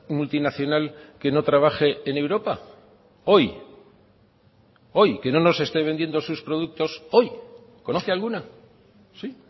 multinacional que no trabaje en europa hoy hoy que no nos esté vendiendo sus productos hoy conoce alguna sí